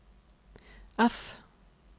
F